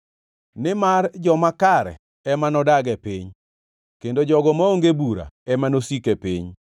Nimar joma kare ema nodag e piny kendo jogo maonge bura ema nosiki e piny;